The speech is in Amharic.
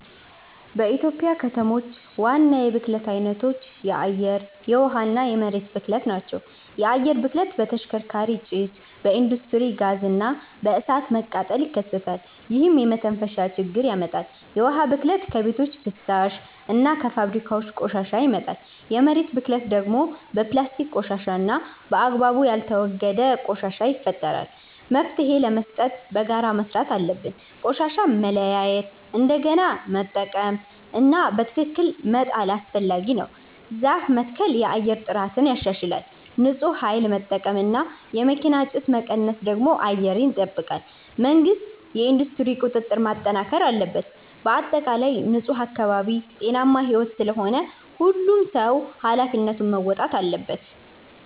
በኢትዮጵያ ከተሞች ዋና የብክለት አይነቶች የአየር፣ የውሃ እና የመሬት ብክለት ናቸው። የአየር ብክለት በተሽከርካሪ ጭስ፣ በኢንዱስትሪ ጋዝ እና በእሳት መቃጠል ይከሰታል፣ ይህም የመተንፈሻ ችግር ያመጣል። የውሃ ብክለት ከቤቶች ፍሳሽ እና ከፋብሪካ ቆሻሻ ይመጣል። የመሬት ብክለት ደግሞ በፕላስቲክ ቆሻሻ እና በአግባቡ ያልተወገደ ቆሻሻ ይፈጠራል። መፍትሄ ለመስጠት በጋራ መስራት አለብን። ቆሻሻን መለያየት፣ እንደገና መጠቀም (recycle) እና በትክክል መጣል አስፈላጊ ነው። ዛፍ መትከል የአየር ጥራትን ያሻሽላል። ንፁህ ኃይል መጠቀም እና የመኪና ጭስ መቀነስ ደግሞ አየርን ይጠብቃል። መንግሥት የኢንዱስትሪ ቁጥጥር ማጠናከር አለበት። በአጠቃላይ ንፁህ አካባቢ ጤናማ ሕይወት ስለሆነ ሁሉም ሰው ኃላፊነቱን መወጣት አለበት።